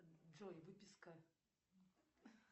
джой выписка